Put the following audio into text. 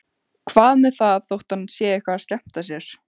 Hvað með það þótt hann sé eitthvað að skemmta sér?